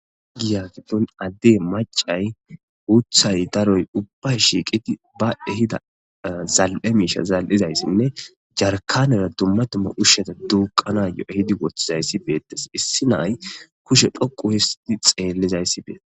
Giya giddon addey maccay guuththay daroy ubbay shiiqidi baas de'za zali'e miishsha zali'izayssanne jarkkanera dumma dumma ushshata duuqqanayo ehidi woththidayssi beettes. Issi na'ay kushe dhoqqu histidi xeellizayssi beettes.